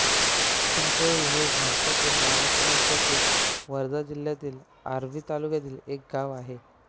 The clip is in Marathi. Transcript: चिंचोळी हे भारतातील महाराष्ट्र राज्यातील वर्धा जिल्ह्यातील आर्वी तालुक्यातील एक गाव आहे